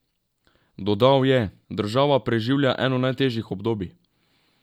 Dodal je: "Država preživlja eno najtežjih obdobij.